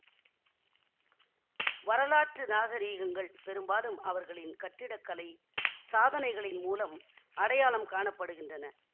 வரலாற்று நாகரீகங்கள் பெரும்பாலும் அவர்களின் கட்டிடகலை சாதனைகளின் மூலம் அடையாளம் காண படுகின்றன